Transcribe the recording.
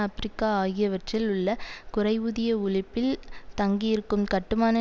Africa ஆகியவற்றில் உள்ள குறைவூதிய உழைப்பில் தங்கி இருக்கும் கட்டுமான